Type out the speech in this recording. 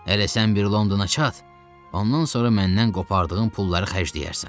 Hələ sən bir Londona çat, ondan sonra məndən qopartdığın pulları xərcləyərsən.